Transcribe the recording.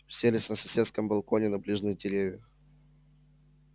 уселись на соседском балконе на ближних деревьях